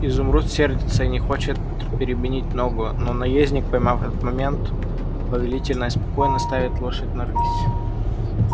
изумруд сердится и не хочет переменить ногу но наездник поймав этот момент повелительно и спокойно ставит лошадь на рысь